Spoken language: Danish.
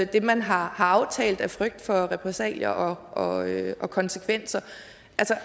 det man har aftalt af frygt for repressalier og konsekvenser